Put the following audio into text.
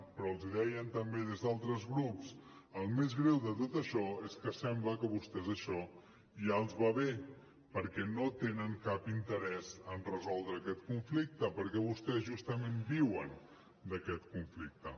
però els hi deien també des d’altres grups el més greu de tot això és que sembla que a vostès això ja els va bé perquè no tenen cap interès en resoldre aquest conflicte perquè vostès justament viuen d’aquest conflicte